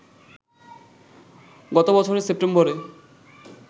গত বছরের সেপ্টেম্বরে